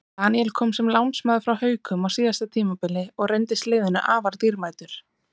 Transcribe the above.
Daníel kom sem lánsmaður frá Haukum á síðasta tímabili og reyndist liðinu afar dýrmætur.